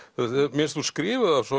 mér finnst hún skrifa af svo